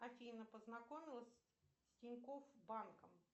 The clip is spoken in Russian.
афина познакомилась с тинькофф банком